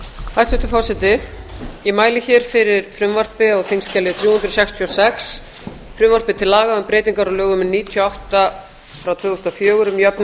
hæstvirtur forseti ég mæli hér fyrir frumvarpi á þingskjali þrjú hundruð sextíu og sex frumvarpi til laga um breytingar á lögum númer níutíu og átta tvö þúsund og fjögur um jöfnunkostnaðar